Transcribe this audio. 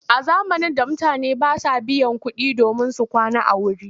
A zamanin da mutane ba sa biyan kuɗi domin su kwana a wuri.